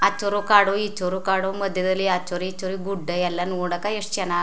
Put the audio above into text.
ಆಚುರು ಕಾಡು ಈಚುರು ಕಾಡು ಮದ್ಯದಲ್ಲಿ ಆಚುರು ಈಚುರು ಗುಡ್ಡ ಎಲ್ಲಾ ನೋಡಕ್ ಎಷ್ಟ ಚನ್ನಾಗ್ --